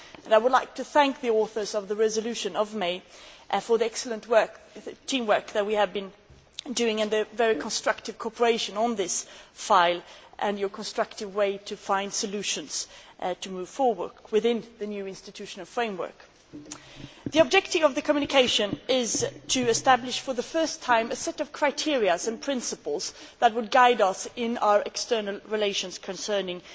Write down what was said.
I would like to thank the authors of the May resolution for the excellent team work we have had and the very constructive cooperation on this file and your constructive way of finding solutions to move forward within the new institutional framework. The objective of the communication is to establish for the first time a set of criteria and principles that would guide us in our external relations concerning